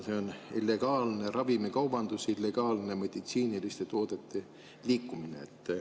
See on illegaalne ravimikaubandus, illegaalne meditsiiniliste toodete liikumine.